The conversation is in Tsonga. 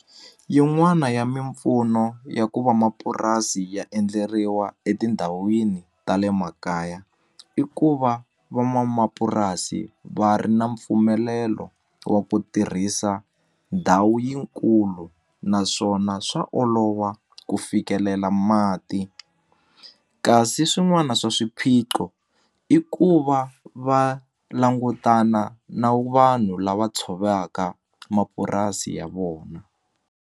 Yin'wana ya mimpfuno ya ku vamapurasi ya endleriwa etindhawini ta le makaya i ku va van'wamapurasi va ri na mpfumelelo wa ku tirhisa ndhawu yinkulu naswona swa olova ku fikelela mati kasi swin'wana swa swiphiqo i ku va va langutana na vanhu lava tshovaka mapurasi ya vona.